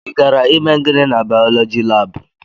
Ị gara ime gịnị na baulọji lab?